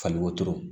Fali wotoro